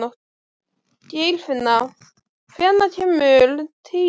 Geirfinna, hvenær kemur tían?